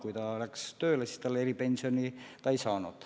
Kui ta läks tööle, siis ta eripensioni ei saanud.